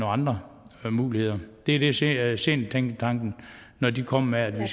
andre muligheder det er det seniortænketanken kommer med at vi